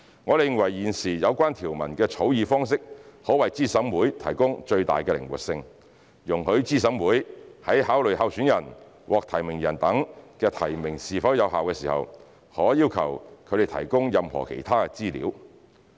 我們認為現時有關條文的草擬方式可為資審會提供最大的靈活性，容許資審會在考慮候選人、獲提名人等的提名是否有效時，可要求他們提供任何其他資料。